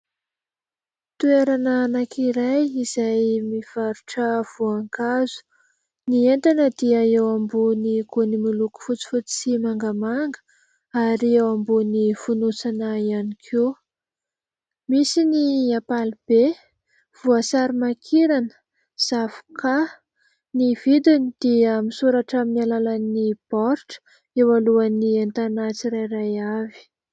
Toerana anankiray izay mivarotra voankazo. Ny entana dia eo ambony gony miloko fotsifotsy sy mangamanga ary eo ambony fonosana ihany koa misy ny ampalibe, voasary makirana, zavoka. Ny vidiny dia misoratra amin'ny alalan'ny baoritra eo alohan'ny entana tsirairay avy.